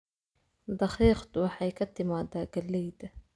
Daqiiqdu waxay ka timaadaa galleyda